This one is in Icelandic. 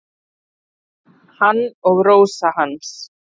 Hann og Rósa hans.